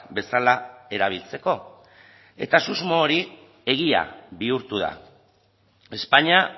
bezala erabiltzeko eta susmo hori egia bihurtu da españa